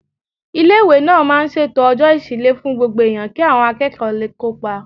Ilé-ìwé náà máa ń ṣètò Ọ̀jọ́ Ìṣílẹ̀ fún Gbogbo Èèyàn kí àwọn akẹ́kọ̀ọ́ lè kópa